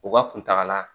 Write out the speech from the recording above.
U ka kuntakala